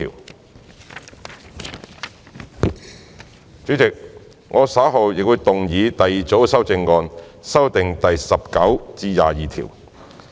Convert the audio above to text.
代理主席，我稍後會動議第二組修正案，修正第19至22條。